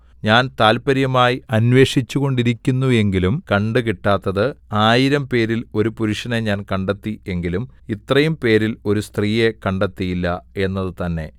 ഞാൻ താത്പര്യമായി അന്വേഷിച്ചുകൊണ്ടിരിക്കുന്നുവെങ്കിലും കണ്ടുകിട്ടാത്തത് ആയിരംപേരിൽ ഒരു പുരുഷനെ ഞാൻ കണ്ടെത്തി എങ്കിലും ഇത്രയും പേരിൽ ഒരു സ്ത്രീയെ കണ്ടെത്തിയില്ല എന്നത് തന്നെ